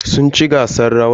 Sun ci gasan rawan.